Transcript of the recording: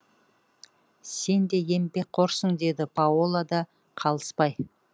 сен де еңбекқорсың деді паола да қалыспай